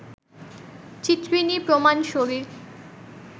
চিত্রিণী প্রমাণ শরীর